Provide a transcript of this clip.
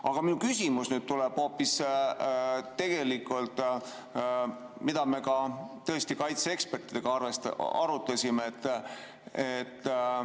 Aga minu küsimus tuleb hoopis sellest, mida me ka tõesti kaitseekspertidega arutasime.